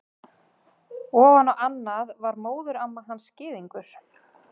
Ofan á annað var móðuramma hans gyðingur.